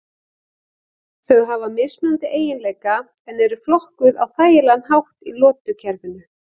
Þau hafa mismunandi eiginleika en eru flokkuð á þægilegan hátt í lotukerfinu.